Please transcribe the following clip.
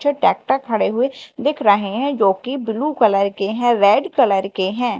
जो टैक्टर खड़े हुए दिख रहें हैं जोकि ब्लू कलर के हैं रेड कलर के हैं।